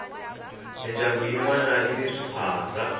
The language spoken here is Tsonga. mindyangu yinwana yini swiphaza